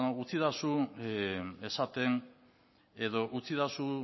beno utzi iezadazu esaten edo utzi iezadazu